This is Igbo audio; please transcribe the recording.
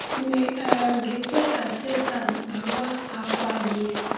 Ma ị um ga-ekwe ka Sátán kpawa àkwà gị?